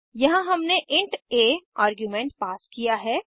यहाँ हमने int a argument pass किया है